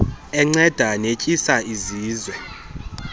enceda netyisa izizwe